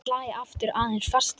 Slæ aftur aðeins fastar.